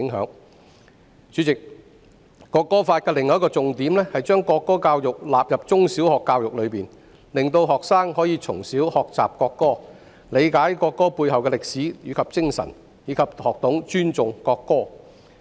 代理主席，《條例草案》的另一個重點是把國歌納入中、小學教育，令學生可以從小學習國歌，理解國歌背後的歷史及精神，以及學懂尊重國歌。